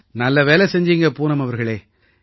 நல்ல வேலை செஞ்சீங்க பூனம் அவர்களே